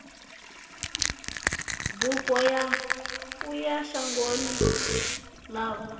bufho ya uya shangoni ḽavho